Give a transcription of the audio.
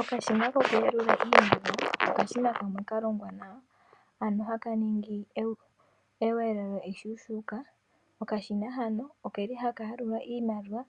Okashina ko kuyalula iimaliwa, okashina hono kalongwa nawa, ano haka ningi eweelelelo eshuushuka. Okashina hano okeli haka yalula iimaliwa,